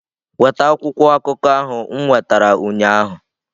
Weta akwụkwọ akụkọ ahụ m nwetara ụnyaahụ!